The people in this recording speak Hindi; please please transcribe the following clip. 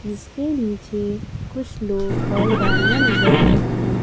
जीसके नीचे कुछ लोग और गाड़ियां नजर आ रही हैं।